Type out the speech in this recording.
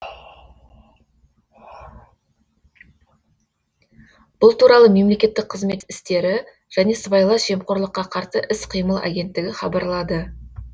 бұл туралы мемлекеттік қызмет істері және сыбайлас жемқорлыққа қарсы іс қимыл агенттігі хабарлады